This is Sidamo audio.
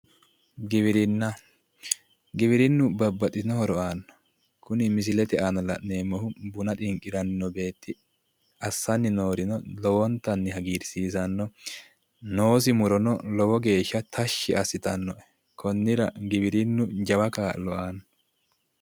giwirinnu babaxitino horo aanno kuni misilete aana la'neemmosihu buna xinqiranni noo beetti assanni noorino lowontanni hagiirsiisanno noosi murono lowo geeshsha tashshi assitanno.